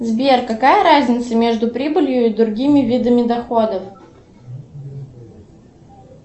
сбер какая разница между прибылью и другими видами доходов